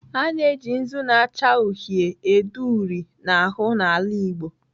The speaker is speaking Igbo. A na-eji nzu na-acha uhie ede uri n'ahụ n'ala Igbo.